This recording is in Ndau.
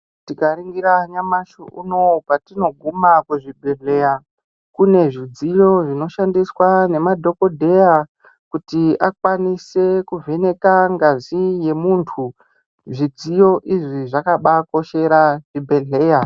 Tikaringira nyamushi patinoguma kuzvibhehleya kune zvidziyo zvinoshandiswa nema dhokodheya kuti akwanise kuvheneka ngazi yemuntu zvidziyo izvi zvakaba koshera zvibhehleya.